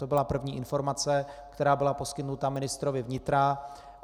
To byla první informace, která byla poskytnuta ministrovi vnitra.